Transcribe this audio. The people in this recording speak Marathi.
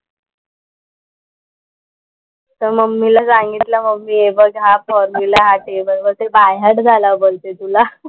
तर मम्मीला सांगितलं मम्मी हे बघ हा फॉर्मुला हा टेबल, बोलते ते बाय हार्ट झाला बोलते तुला.